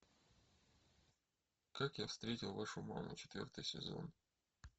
как я встретил вашу маму четвертый сезон